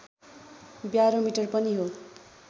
barometer पनि हो